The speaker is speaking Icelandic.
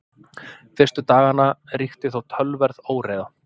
Fyrstu daganna ríkti þó töluverð óreiða.